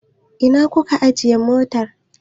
Ina aka ajiye motar?